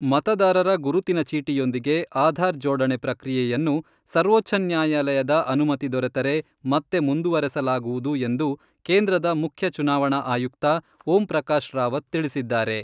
ಮತದಾರರ ಗುರುತಿನ ಚೀಟಿಯೊಂದಿಗೆ ಆಧಾರ್ ಜೋಡಣೆ ಪ್ರಕ್ರಿಯೆಯನ್ನು ಸರ್ವೋಚ್ಛ ನ್ಯಾಯಾಲಯದ ಅನುಮತಿ ದೊರೆತರೆ ಮತ್ತೆ ಮುಂದುವರೆಸಲಾಗುವುದು ಎಂದು ಕೇಂದ್ರದ ಮುಖ್ಯ ಚುನಾವಣಾ ಆಯುಕ್ತ ಓಂ ಪ್ರಕಾಶ್ ರಾವತ್ ತಿಳಿಸಿದ್ದಾರೆ.